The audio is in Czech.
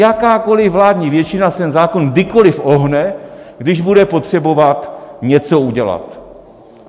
Jakákoliv vládní většina si ten zákon kdykoliv ohne, když bude potřebovat něco udělat.